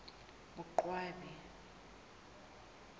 boqwabi